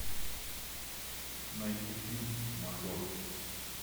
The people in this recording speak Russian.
найти фильм мажор